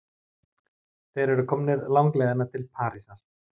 Þeir eru komnir langleiðina til Parísar.